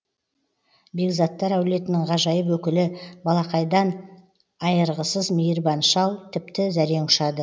бекзаттар әулетінің ғажайып өкілі балақайдан айырғысыз мейірбан шал тіпті зәрең ұшады